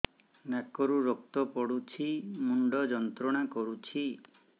ନାକ ରୁ ରକ୍ତ ପଡ଼ୁଛି ମୁଣ୍ଡ ଯନ୍ତ୍ରଣା କରୁଛି